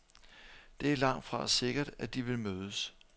Det er langtfra sikkert, at de vil mødes.